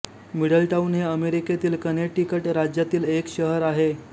Middletown हे अमेरिकेतील Connecticut राज्यातील एक शहर आहे